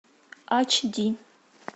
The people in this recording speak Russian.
ач ди